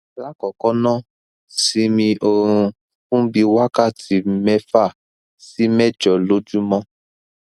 lákọọkọ ná simi orun fun bi wakati mẹ́fa si mẹ́jọ lojumọ